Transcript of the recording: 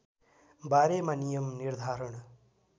बारेमा नियम निर्धारण